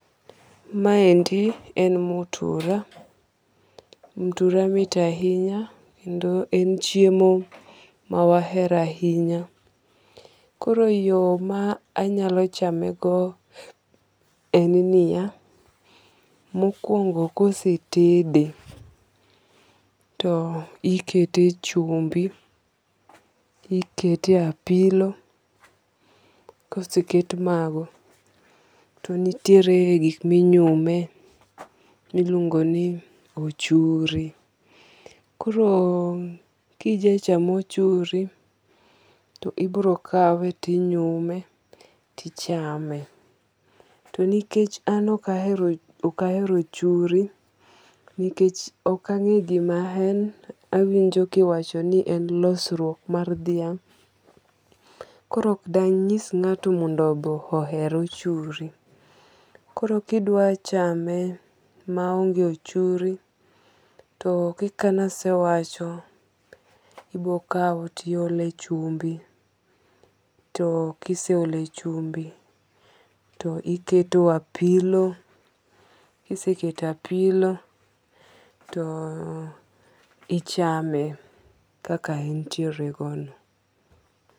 Ma endi en mtura ,mtura mit ahinya kendo en chiemo ma wa hero ahinya. Koro yo ma aanyalo chame go en ni ya, mokuobngo kose tede ti ikete e chumbi, ikete e pilo, ka oseket ma go to niteire gik ma inyume mi iluongo ni ochuri. Koro gi ja cham ochuri to ibiro kawe to inyume to ichame. ti nikech an ok ahero ochuri nikech ok angeyo gi ma en, awinjo kiiwacho ni en losruok mar dhiang. koro be ok de angis ngato mondo be oher ochuri. Kor ki idwa chame ma onge ochuri to kaka e asewacho ibiro kawo ti iolo e chumbi, kiseolo e chumbi, toiketo apilo kiseketo apilo to ichame kakak en tiere go no.